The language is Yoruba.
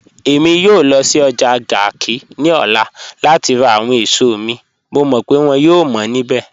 Ẹ̀mi yòò lọ́ sí ọ́jà Garki ni ọ̀lá láti rá àwọn èṣọ̀ mi, mọ̀ mọ́ pe wọ́n yòò mọ́ nibẹ̀